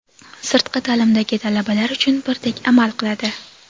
sirtqi taʼlimdagi talabalar uchun birdek amal qiladi.